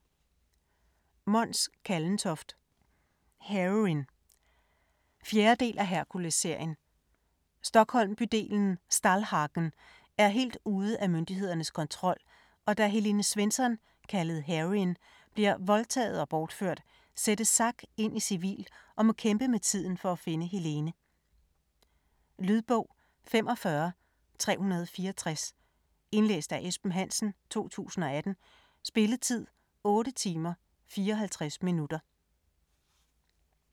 Kallentoft, Mons: Heroine 4. del af Herkulesserien. Stockholm-bydelen Stallhagen er helt ude af myndighedernes kontrol, og da Helene Svensson, kaldet Heroine, bliver voldtaget og bortført, sættes Zack ind i civil og må kæmpe med tiden for at finde Helene. Lydbog 45364 Indlæst af Esben Hansen, 2018. Spilletid: 8 timer, 54 minutter.